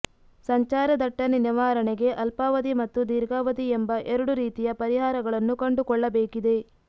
ಸಂಚಾರದಟ್ಟಣೆ ನಿವಾರಣೆಗೆ ಅಲ್ಪಾವಧಿ ಮತ್ತು ದೀರ್ಘಾವಧಿ ಎಂಬ ಎರಡು ರೀತಿಯ ಪರಿಹಾರಗಳನ್ನು ಕಂಡುಕೊಳ್ಳಬೇಕಿದೆ